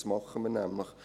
Das tun wir nämlich.